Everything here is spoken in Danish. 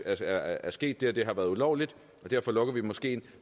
at der er sket det og det har været ulovligt og derfor lukker vi moskeen